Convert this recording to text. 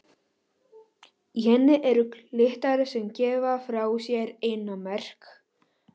Í henni eru kirtlar sem gefa frá sér eyrnamerg.